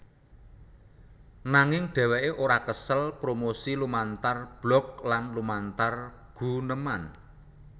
Nanging dhèwèké ora kesel promosi lumantar blog lan lumantar guneman